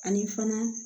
Ani fana